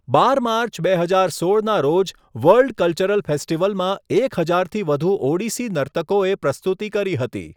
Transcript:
બાર March બે હજાર સોળના રોજ વર્લ્ડ કલ્ચરલ ફેસ્ટિવલમાં એક હજારથી વધુ ઓડિસી નર્તકોએ પ્રસ્તુતિ કરી હતી.